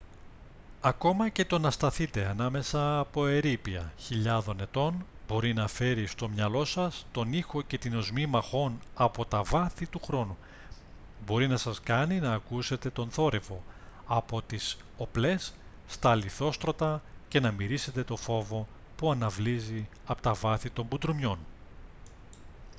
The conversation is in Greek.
ακόμα και το να σταθείτε ανάμεσα από ερείπια χιλιάδων ετών μπορεί να φέρει στο μυαλό σας τον ήχο και την οσμή μαχών από τα βάθη του χρόνου μπορεί να σας κάνει να ακούσετε τον θόρυβο από τις οπλές στα λιθόστρωτα και να μυρίσετε το φόβο που αναβλύζει από τα βάθη των μπουντρουμιών